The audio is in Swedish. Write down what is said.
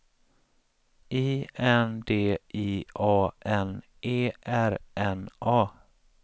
I N D I A N E R N A